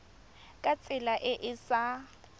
ka tsela e e sa